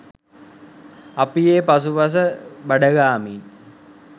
අපි ඒ පසු පස බඩගාමින්